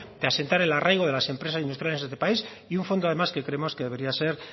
de asentar el arraigo de las empresas industriales de este país y un fondo además que creemos que debería ser